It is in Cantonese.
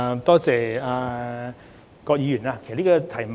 多謝葛議員的提問。